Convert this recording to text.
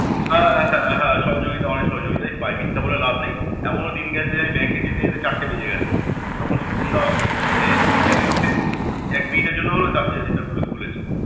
হ্যাঁ হ্যাঁ হ্যাঁ। সহযোগিতা অনেক সহযোগিতাই পাই মিথ্যা বলে লাভ নেই এমনও দিন গেছে যে bank এ যেতে যেতে চারটে বেজে গেছে তখন স্বপনদা মানে নিজের risk এ এক মিনিটের জন্য হলেও টা~ ইয়েটা খুলেছে